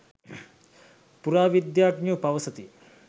පුරාවිද්‍යාඥයෝ පවසති